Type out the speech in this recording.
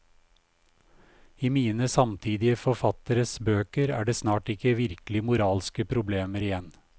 I mine samtidige forfatteres bøker er det snart ikke virkelig moralske problemer igjen.